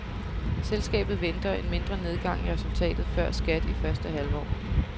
Selskabet venter en mindre nedgang i resultatet før skat i første halvår.